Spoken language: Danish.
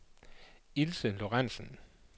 Ilse Lorentzen